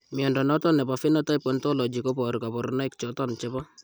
Mnyondo noton nebo Phenotype Ontology koboru kabarunaik choton chebo